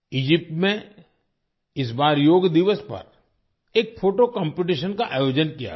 Egypt में इस बार योग दिवस पर एक फोटो कॉम्पिटिशन का आयोजन किया गया